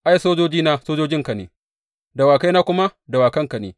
Ai, sojojina sojojinka ne, dawakaina kuma dawakanka ne.